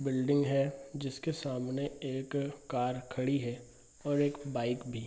Building है जिसके सामने एक कार खड़ी है और एक बाइक भी।